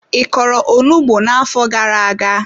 I kọrọ onugbu na-afo gara aga.?